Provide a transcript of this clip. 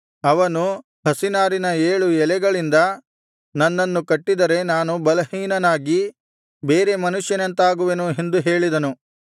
ಅವನು ಹಸಿ ನಾರಿನ ಏಳು ಎಳೆಗಳಿಂದ ನನ್ನನ್ನು ಕಟ್ಟಿದರೆ ನಾನು ಬಲಹೀನನಾಗಿ ಬೇರೆ ಮನುಷ್ಯನಂತಾಗುವೆನು ಎಂದು ಹೇಳಿದನು